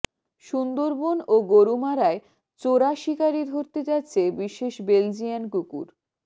সুন্দরবন ও গরুমারায় চোরাশিকারী ধরতে যাচ্ছে বিশেষ বেলজিয়ান কুকুর